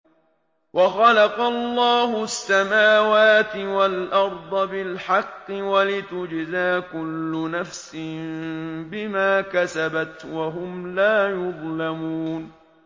وَخَلَقَ اللَّهُ السَّمَاوَاتِ وَالْأَرْضَ بِالْحَقِّ وَلِتُجْزَىٰ كُلُّ نَفْسٍ بِمَا كَسَبَتْ وَهُمْ لَا يُظْلَمُونَ